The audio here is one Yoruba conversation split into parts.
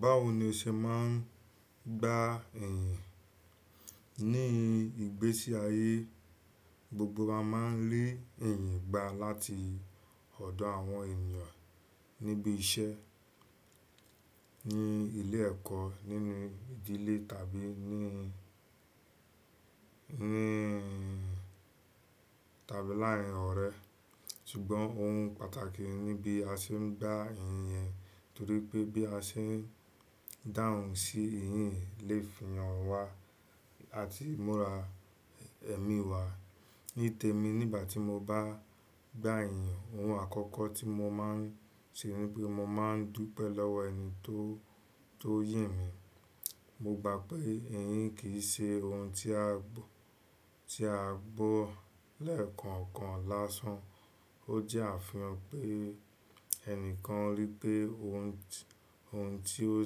Báwo ni o ṣe máa ń gba ẹ̀yìn? Ní ìgbésí ayé, gbogbo wa máa ń le ẹ̀yìn gba láti ọ̀dọ̀ àwọn ènìyàn níbi iṣẹ́, ní ilé ẹ̀kọ́, nínú ìdílé tàbí ní, tàbí láàárín ọ̀rẹ́. Ṣùgbọ́n òun pàtàkì níbí a ṣe ń gba ẹ̀yìn eyẹ, torí pé bí a ṣe ń dáhùn sí ẹ̀yìn lè fi hàn wá àti múra ẹ̀mí wá. Nítẹ̀ mi nígbà tí mo bá gba ẹ̀yan, ohun àkọ́kọ́ tí mo máa ń ṣe níbí mo máa ń dúpẹ́ lọ́wọ́ ẹni tó, tó yìn mi. Mo gba pé iyìn kì í ṣe ohun tí a gbọ́, tí a gbọ́ lẹ́ẹ̀kọ̀ọ̀kan lásán. Ó jẹ́ àfihàn pé ẹnìkan rí pé ohun, ohun tí ó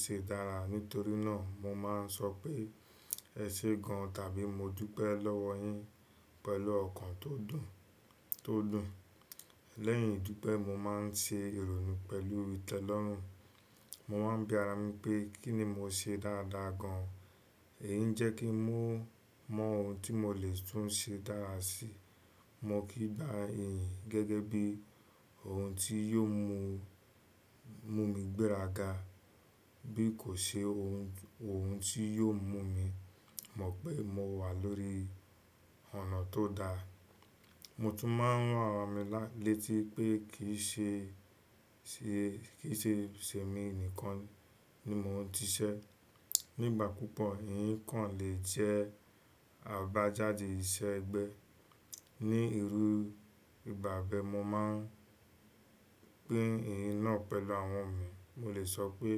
ṣe dára. Nítorí náà mo máa ń sọ pé "ẹ ṣé gan an" tàbí "mo dúpẹ́ lọ́wọ́ yín" pẹ̀lú ọ̀kàn tó dùn, tó dùn. Lẹ́yìn ìdúpẹ́, mo máa ń ṣe ìrònú pẹ̀lú ìtẹ́lọ́rùn. Mo máa ń bi ara mi pé kí ni mo ṣe dáadáa gan an. Èyí ń jẹ́ kí ń mọ ohun tí mo lè tún ṣe dára si. Mo kì í gba ẹ̀yìn gẹ́gẹ́ bí ohun tí yóò mú, mú mi gbéraga bí kò ṣe ohun, ohun tí yóò mú mi mọ̀ pé mo wà lórí ọ̀nà tó da. Mo tún máa ń ran ara mi létí pé kì í ṣe, ṣe, kì í ṣe ẹ̀mí nìkan ni mo ń siṣẹ́. Nígbà púpọ̀ iyìn kan lè jẹ́ àbájáde iṣẹ́ ẹgbẹ́. Ni irú ìgbà bẹ́ẹ̀ mo máa pín iyìn náà pẹ̀lú àwọn mi. Mo lè sọ pé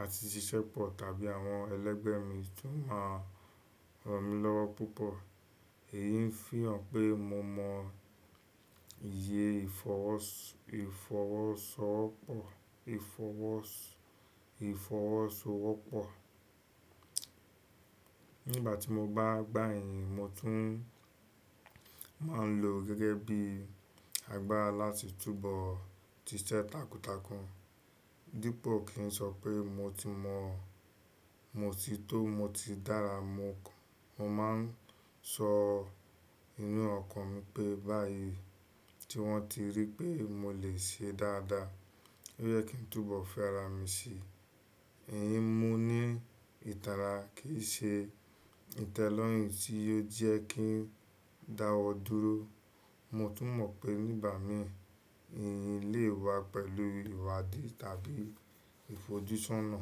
a ti ṣiṣẹ́ pọ̀ tàbí àwọn ẹlẹgbẹ́ mi tún máa ràn mí lọ́wọ́ púpọ̀. Èyí ń fihàn pé mo mọ iyi ìfọwọ́sọwọ́pọ̀, ìfọwọ́sọwọ́pọ̀. Nígbà tí mo bá gba iyìn, mo tún máa ń lo gẹ́gẹ́ bí àgbára láti túbọ̀ siṣẹ́ takuntakun. Dípò kí n sọ pé mo ti mọ̀, mo ti tó, mo ti dára, mo máa ń sọ ninú ọ̀kàn mi pé báyìí, tí wọ́n ti rí pé mo lè ṣe dáadáa, ó yẹ kí n túbọ̀ fi ara mi si. Iyìn mo ní ìtara kì í ṣe ìtẹ́lọ́rùn tí yò jẹ́ kí n dáwọ́ dúró. Mo tún mọ̀ pé nígbà mìí iyìn lè wá pẹ̀lú ìwádìí tàbí ìfojúsọ́nà.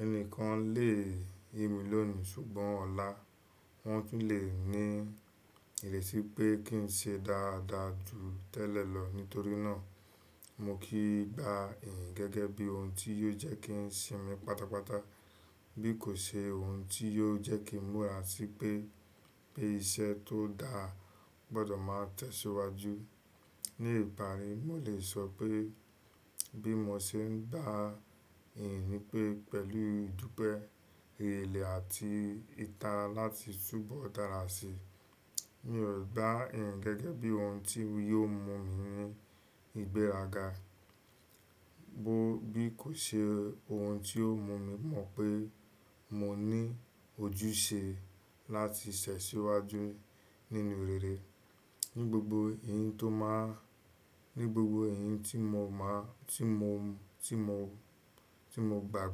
Ẹni kan lè yin mi lónìí ṣùgbọ́n ọ̀la wọ́n tún lè ní ìrètí pé kí n ṣe dáadáa jù tẹ́lẹ̀ lọ. Nítorí náà mo kìn gba iyìn gẹ́gẹ́ bí ohun tí yóò jẹ́ kí n sinmi pátápátá bí kò ṣe ohun tí yóò jẹ́ kí n múra sí pé, pé iṣẹ́ tó dáa gbọdọ̀ máa tẹ̀síwájú. Ní ìparí, mo lè sọ pé bí mo ṣe ń gba iyìn nípé pẹ̀lú ìdúpẹ́, èrèle àti ìtara láti túbọ̀ dára si. Mi ò gba ẹ̀yìn gẹ́gẹ́ bí ohun tí yóò mú mi gbéraga bí kò ṣe ohun tí yóò mú mi mọ̀ pé mo ní ojúṣe láti tẹ́ síwájú nínú rere. Ni gbogbo iyìn ti mo gba,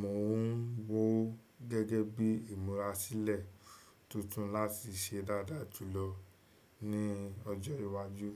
mò ń wó gẹ́gẹ́ bí ìmúra sílẹ̀ tuntun láti ṣe dáadáa jùlọ ní ọjọ́ iwájú.